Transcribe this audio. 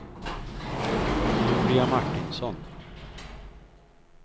Julia Martinsson